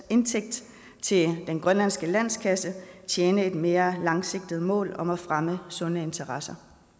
indtægt til den grønlandske landskasse tjene et mere langsigtet mål om at fremme sunde interesser